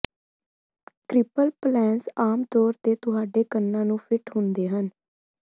ਕ੍ਰੀਪਲ ਪਲੇਸ ਆਮ ਤੌਰ ਤੇ ਤੁਹਾਡੇ ਕੰਨਾਂ ਨੂੰ ਫਿੱਟ ਹੁੰਦੇ ਹਨ